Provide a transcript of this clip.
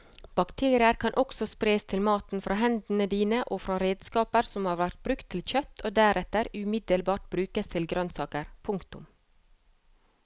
Bakterier kan også spres til maten fra hendene dine og fra redskaper som har vært brukt til kjøtt og deretter umiddelbart brukes til grønnsaker. punktum